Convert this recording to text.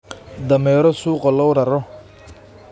Dameero suuqa loo raro.